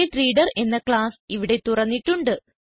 InputBufferedReaderഎന്ന class ഇവിടെ തുറന്നിട്ടുണ്ട്